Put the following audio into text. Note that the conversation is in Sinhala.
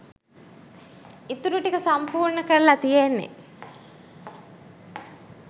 ඉතුරු ටික සම්පූර්ණ කරල තියෙන්නෙ.